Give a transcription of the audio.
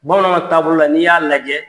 Bamananw taabolo la n'i y'a lajɛ.